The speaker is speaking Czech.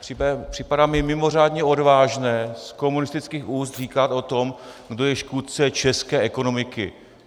Připadá mi mimořádně odvážné z komunistických úst říkat o tom, kdo je škůdce české ekonomiky.